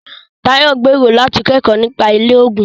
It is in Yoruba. Tayo gbèrò láti kẹ́kọ̀ọ́ nípa ilé-oògùn.